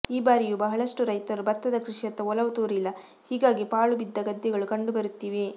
ಈ ಬಾರಿಯೂ ಬಹಳಷ್ಟು ರೈತರು ಭತ್ತದ ಕೃಷಿಯತ್ತ ಒಲವು ತೋರಿಲ್ಲ ಹೀಗಾಗಿ ಪಾಳು ಬಿದ್ದ ಗದ್ದೆಗಳು ಕಂಡು ಬರುತ್ತಿವೆ